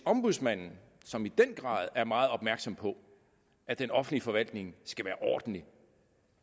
at ombudsmanden som i den grad er meget opmærksom på at den offentlige forvaltning skal være ordentligt